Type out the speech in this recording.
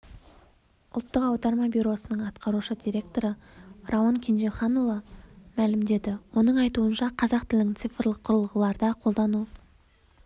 ұлттық аударма бюросының атқарушы директоры рауан кенжеханұлы мәлімдеді оның айтуынша қазақ тілінің цирфлық құрылғыларда қолдану